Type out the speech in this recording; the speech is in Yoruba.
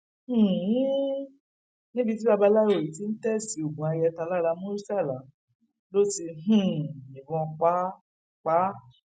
um níbi tí babaláwo yìí ti ń tẹẹsì oògùn ayẹta lára murtala ló ti um yìnbọn pa á pa á